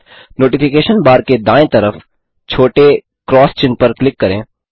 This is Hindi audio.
नोटिफिकेशन नोटिफिकेशन बार के दाएँ तरफ छोटे एक्स चिह्न पर क्लिक करें